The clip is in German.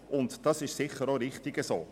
Dies ist sicher richtig so.